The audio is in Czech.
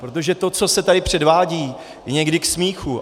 Protože to, co se tady předvádí, je někdy k smíchu.